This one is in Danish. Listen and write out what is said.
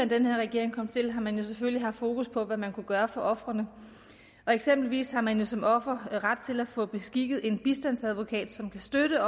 den her regering kom til har man jo selvfølgelig haft fokus på hvad man kunne gøre for ofrene eksempelvis har man som offer jo ret til at få beskikket en bistandsadvokat som kan støtte